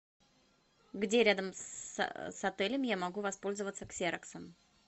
где рядом с отелем я могу воспользоваться ксероксом